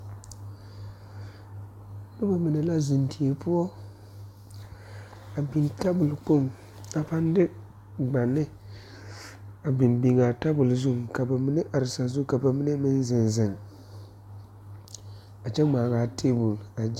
Nobɔ mine la zeŋ die poɔ a biŋ tabol Kpoŋ a paŋ de gbane a biŋ biŋaa tabol zuŋ ka ba mine are sazu ka ba mine meŋ zeŋ zeŋ a kyɛ ngmaaŋaa tabol.